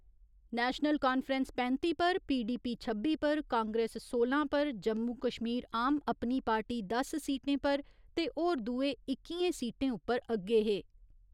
National Conference पैंत्ती पर, PDP छब्बी पर, कांग्रेस सोलां पर, जम्मू कश्मीर आम अपनी पार्टी दस सीटें पर ते होर दूए इक्कियें सीटें उप्पर अग्गे हे।